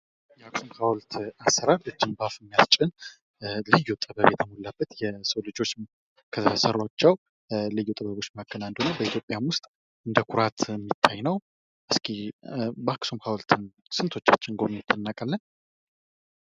የአክሱም ሐውልት አሰራር በአፍ የሚያስጭን ልዩ ጥበብ የተሞላበት የሰው ልጆች ከሰሯቸው ልዩ ጥበቦች መካከል አንዱ ነው። በኢትዮጵያ ውስጥም እንደኩራት የሚታይ ነው። እስኪ የአክሱም ሐውልቱን ስንቶቻችን እናውቃለን?